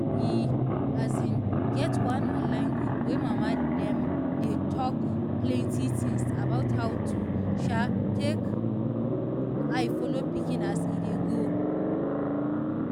e as in get one online group wey mama dem dey talk plenty things about how to take eye follow pikin as e dey grow.